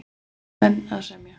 Póstmenn að semja